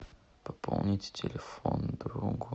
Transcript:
пополнить телефон другу